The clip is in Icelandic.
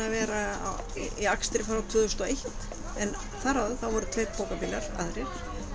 að vera í akstri frá tvö þúsund og eitt en þar áður voru tveir aðrir